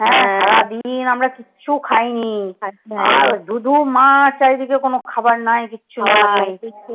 হ্যাঁ সারাদিন আমরা কিছু খাইনি। আর ধুঁ ধুঁ মাঠ চারিদিকে কোনো খাবার নাই কিচ্ছু